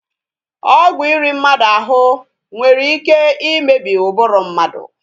Ọgwụ iri mmadụ ahụ nwere ike imebi ụbụrụ mmadụ